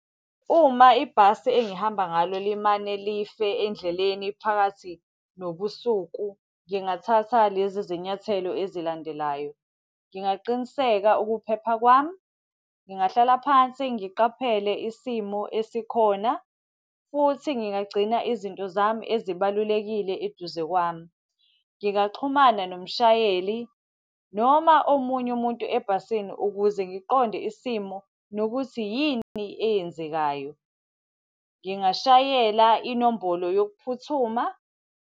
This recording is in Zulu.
Uma ibhasi engihamba ngalo limane life endleleni phakathi nobusuku, ngingathatha lezi zinyathelo ezilandelayo. Ngingaqiniseka ukuphepha kwami, ngingahlala phansi niqaphele isimo esikhona, futhi ngingagcina izinto zami ezibalulekile eduze kwami. Ngingaxhumana nomshayeli, noma omunye umuntu ebhasini ukuze ngiqonde isimo nokuthi yini eyenzekayo. Ngingashayela inombolo yokuphuthuma.